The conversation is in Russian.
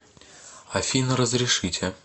афина разрешите